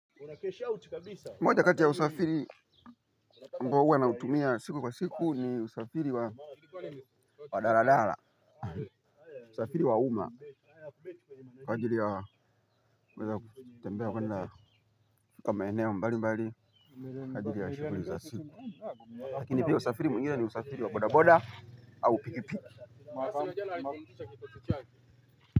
Moja kati ya usafiri ambao huwa nautumia siku kwa siku ni usafiri wa wa daladala. Usafiri wa umma kwa ajili ya kuweza kutembea kuenda kwa maeneo mbalimbali kwa ajili ya shughuli za siku. Lakini pia usafiri mwingine ni usafiri wa bodaboda au pikipiki.